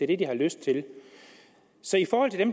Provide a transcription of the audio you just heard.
det de har lyst til så jeg